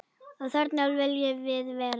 Og þarna viljum við vera.